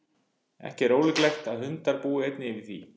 ekki er ólíklegt að hundar búi einnig yfir því